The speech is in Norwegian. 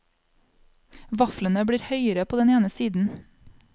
Vaflene blir høyere på den ene siden.